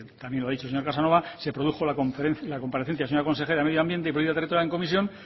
también lo ha dicho el señor casanova se produjo la comparecencia de la señora consejera de medio ambiente y política territorial en comisión